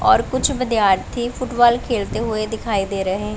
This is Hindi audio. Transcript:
और कुछ विद्यार्थी फुटबॉल खेलते हुए दिखाई दे रहे--